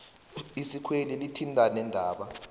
isikweli lithinta neendaba